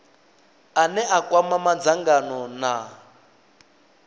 ane a kwama madzangano na